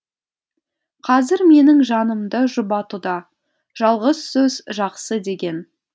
қазір менің жанымды жұбатуда жалғыз сөз жақсы деген